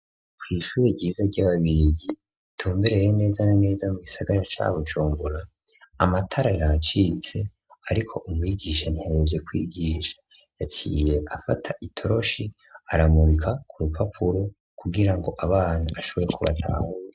Kw’ishure ryiza ry'ababirigi, ritumbereye neza naneza mu gisagara ca Bujumbura, amatara yacitse ariko umwigisha ahonvye kwigisha, yaciye afata itoroshi aramurika ku rupapuro kugira ngo abana bashobore kubatahura.